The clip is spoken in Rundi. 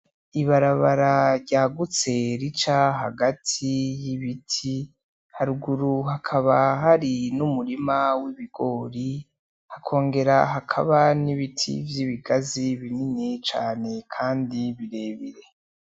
Ibarabara ryagutse rica hagati y'ibiti, haruguru hakaba hari n'umurima w'ibigori, hakongera hakaba n'ibiti vy'ibigazi binini cane kandi birebire.